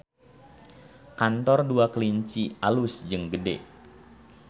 Kantor Dua Kelinci alus jeung gede